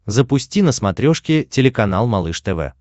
запусти на смотрешке телеканал малыш тв